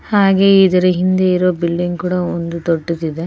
ಹಾಗೆ ಇದರ ಹಿಂದೆ ಇರುವ ಬಿಲ್ಡಿಂಗ್ ಕೂಡ ತುಂಬಾ ದೊಡ್ಡದ್ ಇದೆ.